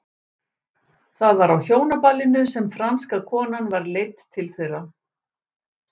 Það var á hjónaballinu sem franska konan var leidd til þeirra.